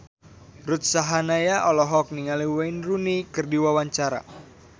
Ruth Sahanaya olohok ningali Wayne Rooney keur diwawancara